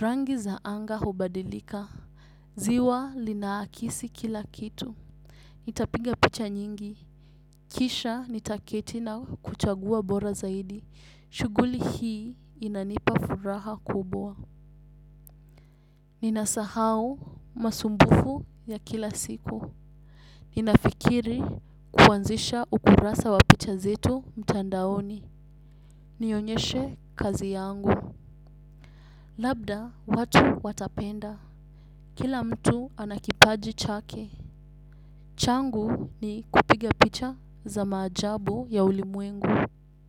Rangi za anga hubadilika. Ziwa lina akisi kila kitu nitapiga picha nyingi. Kisha nitaketi na kuchagua bora zaidi. Shughuli hii inanipa furaha kubwa. Ninasahau masumbufu ya kila siku. Ninafikiri kuanzisha ukurasa wa picha zetu mtandaoni. Nionyeshe kazi yangu. Labda watu watapenda. Kila mtu anakipaji chake. Changu ni kupiga picha za maajabu ya ulimwengu.